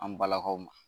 An balakaw ma